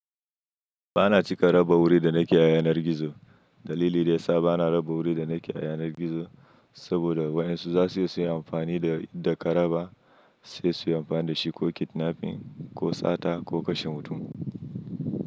Ba na cika raba wuri da na ke a yanar gizo. Dalili da ya sa ba na raba wuri da na ke a yanar gizo, saboda wayen su za su yi amfani da karaba sai su yi amfani da shi ko kidnapping ko sata ko kashe mutum.